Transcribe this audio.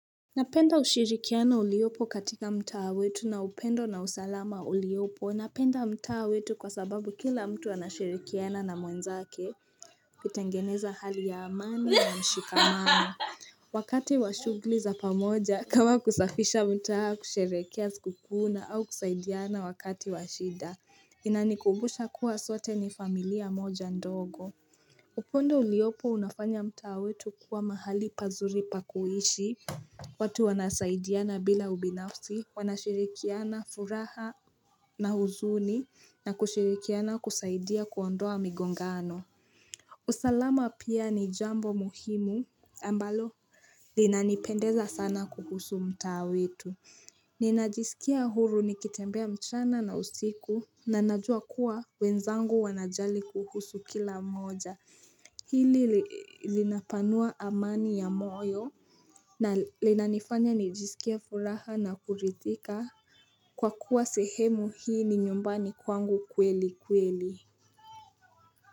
Napenda ushirikiano uliopo katika mtaha wetu na upendo na usalama uliopo. Napenda mtaha wetu kwa sababu kila mtu anashirikiana na mwenzake. Kutengeneza hali ya amani na mshikamano. Wakati washugli za pamoja kama kusafisha mtaha kushirehekea sikukuu na au kusaidiana wakati washida. Inanikubusha kuwa sote ni familia moja ndogo. Upondo uliopo unafanya mtaha wetu kuwa mahali pazuri pakuishi. Watu wanasaidiana bila ubinafsi, wanashirikiana furaha na huzuni na kushirikiana kusaidia kuondoa migongano. Usalama pia ni jambo muhimu ambalo linanipendeza sana kuhusu mtaawetu. Ninajisikia huru nikitembea mchana na usiku na najua kuwa wenzangu wanajali kuhusu kila mmoja. Hili linapanua amani ya moyo na linanifanya nijisikie furaha na kurithika Kwa kuwa sehemu hii ni nyumbani kwangu kweli kweli.